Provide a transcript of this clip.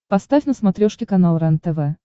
поставь на смотрешке канал рентв